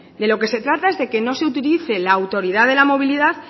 de lo que se trata es de que no se utilice la autoridad de la movilidad